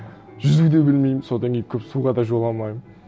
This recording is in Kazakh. жүзу де білмеймін содан кейін көп суға да жоламаймын